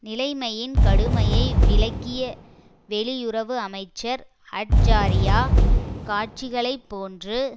நிலைமையின் கடுமையை விளக்கிய வெளியுறவு அமைச்சர் அட்ஜாரியா காட்சிகளைப்போன்று